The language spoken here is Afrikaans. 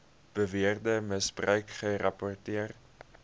beweerde misbruik gerapporteer